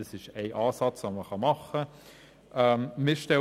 Dies ist ein Ansatz, den man verfolgen kann.